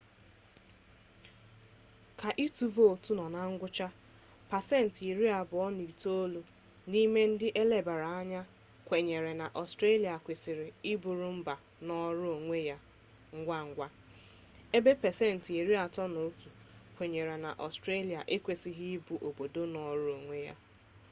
ka ịtụ vootu nọ na ngwụcha pasentị iri abụọ na itolu n'ime ndị elebaara anya kwenyere na ọstrelia kwesịrị ịbụrụ mba nọọrọ onwe ya ngwa ngwa ebe pasentị iri atọ na otu kwenyere na ọstrelia ekwesịghị ịbụ obodo nọọrọ onwe ya